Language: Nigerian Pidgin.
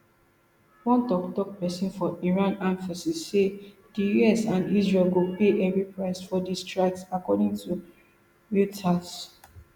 one toktok pesin for iran armed forces say di us and israel go pay heavy price for di strikes according to reuters